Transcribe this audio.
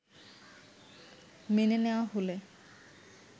মেনে নেয়া হলে